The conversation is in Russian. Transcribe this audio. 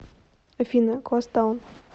афина гост таун